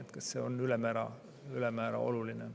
kas see on väga oluline.